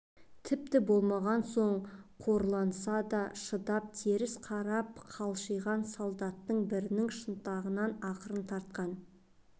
тіпті болмаған соң қорланса да шыдап теріс қарап қалшиған солдаттардың бірінің шынтағынан ақырын тартқан